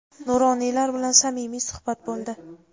nuroniylar bilan samimiy suhbat bo‘ldi.